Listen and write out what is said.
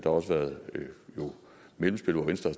også været mellemspil hvor venstre